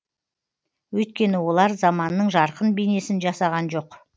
өйткені олар заманның жарқын бейнесін жасаған жоқ